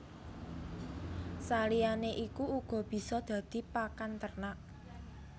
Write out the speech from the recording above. Saliyané iku uga bisa dadi pakan ternak